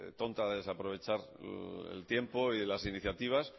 tonta de desaprovechar el tiempo y las iniciativas